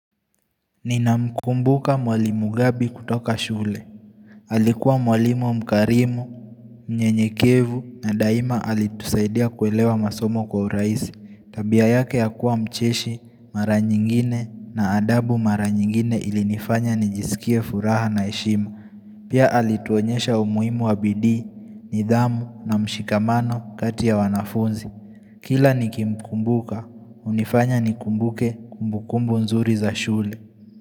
Ninamkumbuka mwalimu gabi kutoka shule Alikuwa mwalimu mkarimu, mnyenyekevu na daima alitusaidia kuelewa masomo kwa urahisi Tabia yake ya kuwa mcheshi, mara nyingine na adabu mara nyingine ilinifanya nijisikie furaha na heshima Pia alituonyesha umuhimu wa bidii, nidhamu na mshikamano kati ya wanafunzi Kila nikimkumbuka, hunifanya nikumbuke kumbukumbu nzuri za shule.